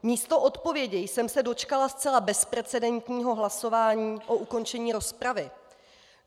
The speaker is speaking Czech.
Místo odpovědi jsem se dočkala zcela bezprecedentního hlasování o ukončení rozpravy.